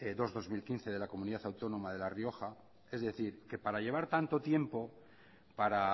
dos barra dos mil quince de la comunidad autónoma de la rioja es decir que para llevar tanto tiempo para